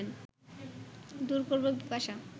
দূর করব পিপাসা